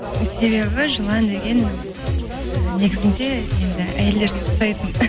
себебі жылан деген і негізінде енді әйелдерге ұқсайтын